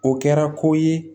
O kɛra ko ye